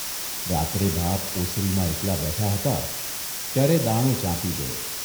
રાત્રે બાપ ઓસરીમાં એકલા બેઠા હતા ત્યારે દાણો ચાંપી જોયો.